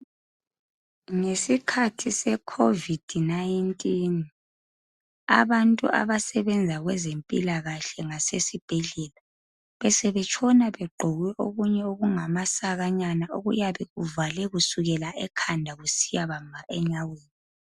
Ngesikhathi se COVID-19 , abantu abasebenza kwezempilakahle ngasesibhedlela besebetshona begqoke okunye okungamasakanyana okuyabe kuvale kusukela ekhanda kusiyabamba enyaweni